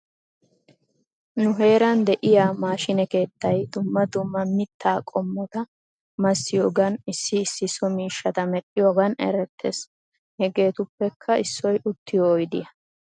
Nu heeran de'iyaa maashiine keettay dumma dumma mittaa qommota massiyoogan issi issi so miishshata medhdhiyoogan erettes. Hegeetuppekka issoy uttiyo oydiyaa.